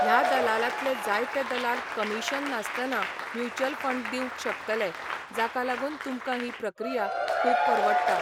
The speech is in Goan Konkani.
ह्या दलालांतले जायते दलाल कमिशन नासतना म्युच्युअल फंड दिवंक शकतले, जाका लागून तुमकां ही प्रक्रिया खूब परवडटा.